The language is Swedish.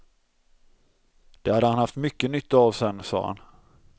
Det hade han haft mycket nytta av sen, sa han.